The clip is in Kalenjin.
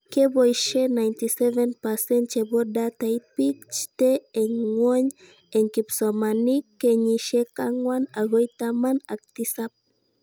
Keboishe 97% chebo datait bik chtee eng ngwony eng kipsomsonink kenyishek angwan akoi taman ak tisab